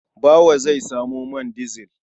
Bawa zai samo man dizil.